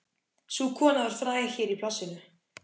Sú kona var fræg hér í plássinu.